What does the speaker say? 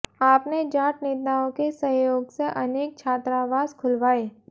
आपने जाट नेताओं के सहयोग से अनेक छात्रावास खुलवाए